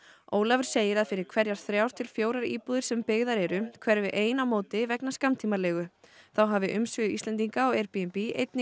Ólafur segir að fyrir hverjar þrjár til fjórar íbúðir sem byggðar eru hverfi ein á móti vegna skammtímaleigu þá hafa umsvif Íslendinga á Airbnb einnig